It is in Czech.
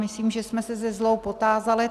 Myslím, že jsme se se zlou potázali.